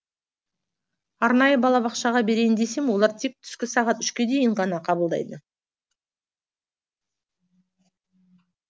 арнайы балабақшаға берейін десем олар тек түскі сағат үшке дейін ғана қабылдайды